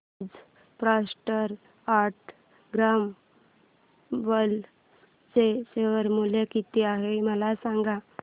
आज Procter and Gamble चे share मूल्य किती आहे मला सांगा